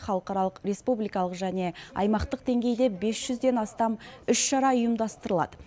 халықаралық республикалық және аймақтық деңгейде бес жүзден астам іс шара ұйымдастырылады